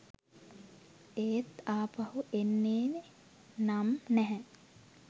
එත් අපහු එන්නේ නම් නැහැ